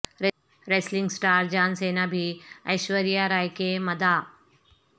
wrestling star John Cena بھی ایشوریا رائے کے مداح